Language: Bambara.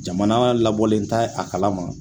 Jamana labɔlen tɛ a kalama.